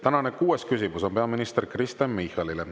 Tänane kuues küsimus on peaminister Kristen Michalile.